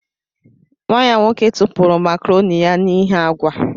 Nwa ya nwoke tụpụrụ makaroni ya n'ihi agwa.